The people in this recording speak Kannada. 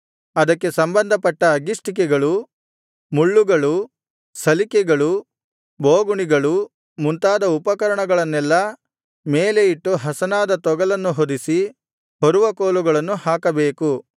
ಅದಕ್ಕೆ ಸಂಬಂಧಪಟ್ಟ ಅಗ್ಗಿಷ್ಟಿಕೆಗಳು ಮುಳ್ಳುಗಳು ಸಲಿಕೆಗಳು ಬೋಗುಣಿಗಳು ಮುಂತಾದ ಉಪಕರಣಗಳನ್ನೆಲ್ಲಾ ಮೇಲೆ ಇಟ್ಟು ಹಸನಾದ ತೊಗಲನ್ನು ಹೊದಿಸಿ ಹೊರುವ ಕೋಲುಗಳನ್ನು ಹಾಕಬೇಕು